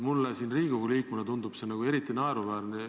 Mulle Riigikogu liikmena tundub see eriti naeruväärne.